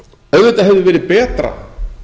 auðvitað hefði verið betra